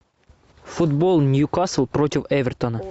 футбол ньюкасл против эвертона